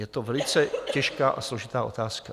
Je to velice těžká a složitá otázka.